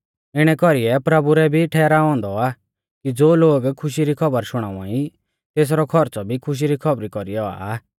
इणै कौरीऐ प्रभु रै भी ठहराऔ औन्दौ आ कि ज़ो लोग खुशी री खौबर शुणाउवाई तेसरौ खौरच़ौ भी खुशी री खौबरी कौरीऐ औआ